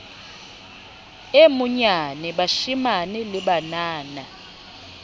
e monyane bashemane le banana